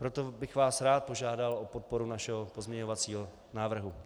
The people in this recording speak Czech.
Proto bych vás rád požádal o podporu našeho pozměňovacího návrhu.